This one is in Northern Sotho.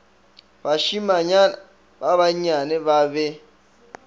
bašimanyana ba bannyane ba be